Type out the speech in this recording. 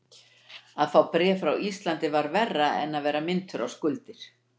Að fá bréf frá Íslandi var verra en að vera minntur á skuldir.